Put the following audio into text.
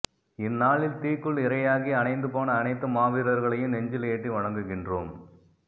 இந்நாளில் தீக்குள் இரையாகி அணைந்து போன அனைத்து மாவீரர்களையும் நெஞ்சில் ஏற்றி வணங்குகின்றோம்